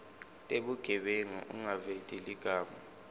tebugebengu ungaveti ligama